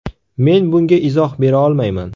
Men bunga izoh bera olmayman.